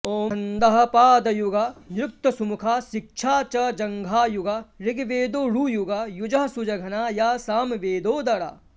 ॐ छन्दःपादयुगा निरुक्तसुमुखा शिक्षा च जङ्घायुगा ऋग्वेदोरुयुगा युजःसुजघना या सामवेदोदरा